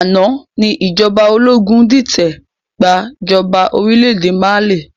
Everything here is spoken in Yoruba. Àná ni ìjọba ológun dìtẹ̀ gbà jọba orílédé Mali